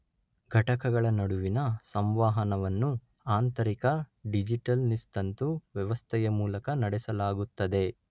ಘಟಕಗಳ ನಡುವಿನ ಸಂವಹನವನ್ನು ಆಂತರಿಕ ಡಿಜಿಟಲ್ ನಿಸ್ತಂತು ವ್ಯವಸ್ಥೆಯ ಮೂಲಕ ನಡೆಸಲಾಗುತ್ತದೆ.